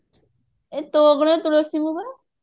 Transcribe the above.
ଏ ତୋ ଅଗଣା ତୁଳସୀ ମୁଁ ପରା